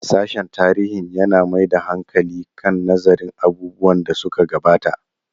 Sashen tarihin yana mai da hankali kan nazarin abubuwan da suka gabata.